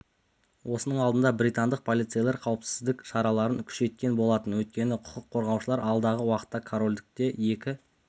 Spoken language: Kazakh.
осының алдында британдық полицейлер қауіпсіздік шараларын күшейткен болатын өйткені құқық қорғаушылар алдағы уақытта корольдікте екі